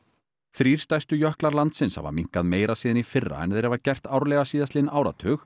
þrír stærstu jöklar landsins hafa minnkað meira síðan í fyrra en þeir hafa gert árlega síðastliðinn áratug